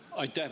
Aitäh!